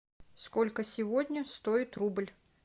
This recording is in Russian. сколько сегодня стоит рубль